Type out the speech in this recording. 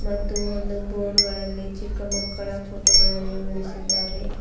ಮತ್ತು ಒಂದು ಬೋರ್ಡ್ ಗಳಲ್ಲಿ ಚಿಕ್ಕ ಮಕ್ಕಳ ಫೋಟೋ ಗಳನ್ನು ಇಳಿಸಿದ್ದಾರೆ.